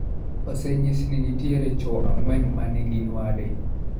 Osenyis ni nitie chwo ang'wen ma ne gin wade.